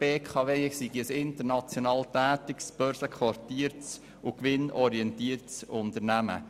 Die BKW sei ein international börsenquotiertes Unternehmen.